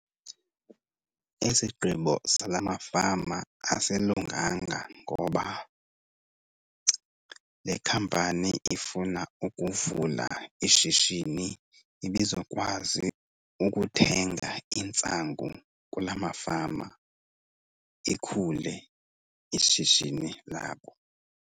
Esigqibo sala mafama asilunganga ngoba le khampani ifuna ukuvula ishishini ibizokwazi ukuthenga intsangu kulaa mafama ikhule ishishini labo.